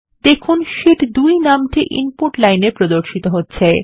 দেখুন শীট 2 নামটি ইনপুট লাইনএ প্রদর্শিত হচ্ছে